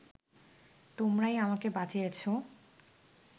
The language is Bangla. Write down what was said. তোমরাই আমাকে বাঁচিয়েছ